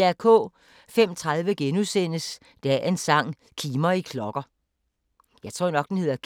05:30: Dagens sang: Kimer i klokker * 06:05: